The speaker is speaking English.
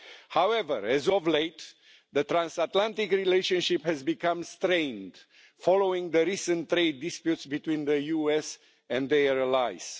However, as of late, the transatlantic relationship has become strained following the recent trade disputes between the US and their allies.